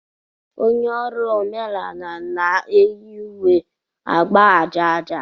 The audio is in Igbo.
Onye ọrụ omenala na-eyi uwe agba aja aja.